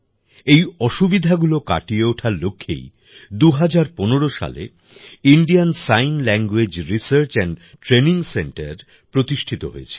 এই অসুবিধাগুলি কাটিয়ে ওঠার লক্ষ্যেই ২০১৫ সালে Indian sign language research and training centre প্রতিষ্ঠিত হয়েছিল